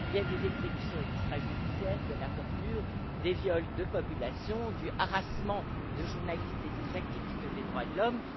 Il y a des exécutions extrajudiciaires, de la torture, des viols de populations, du harcèlement des journalistes et des défenseurs des droits de l'homme.